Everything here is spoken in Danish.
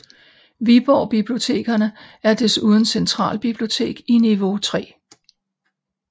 Viborg Bibliotekerne er desuden centralbibliotek i niveau 3